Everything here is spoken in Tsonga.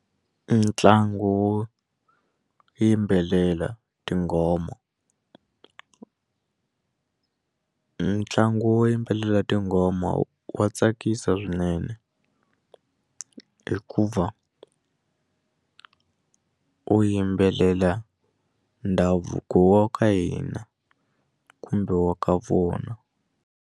Ntlangu wo yimbelela tinghoma ntlangu wo yimbelela tinghoma wa tsakisa swinene hikuva u yimbelela ndhavuko wa ka hina kumbe wa ka vona.